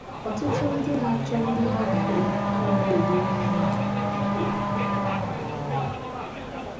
Ọtụtụ ndị na - achọ ndị ha ga - alụ anaghị eleru anya ala.